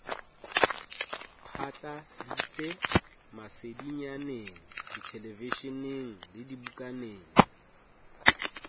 phatladitse masedinyaneng dithelevishineng le dibukaneng